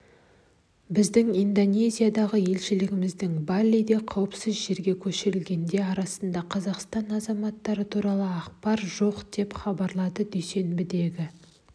біздің индонезиядағы елшілігімізде балиде қауіпсіз жерге көшірілгендер арасында қазақстан азаматтары туралы ақпар жоқ деп хабарлады дүйсенбідегі